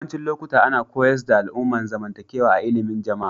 Yawancin lokuta ana koyars da al'amuran zamantakewa a illimin Jama'a.